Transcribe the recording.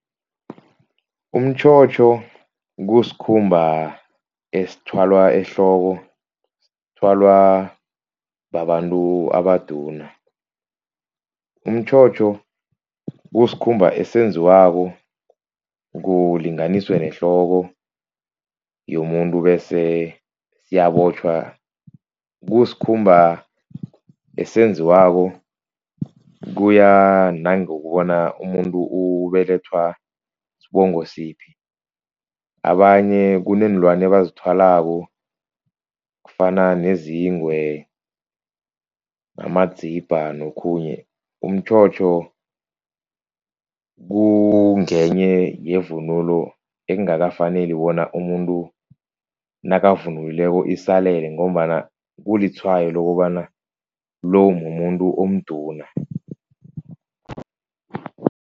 Umtjhotjho kusikhumba esithwalwa ehloko, sithwalwa babantu abaduna. Umtjhotjho kusikhumba esenziwako kulinganiswe nehloko yomuntu bese siyabotjhwa. Kusikhumba esenziwako kuya nangokubona umuntu ubelethwa sibongo siphi, abanye kuneenlwana abazithwalako kufana nezingwe namadzibha nokhunye. Umtjhotjho kungenye yevunulo ekungakafaneli bona umuntu nakavunulileko isalele, ngombana kulitshwayo lokobana lo mumuntu omduna.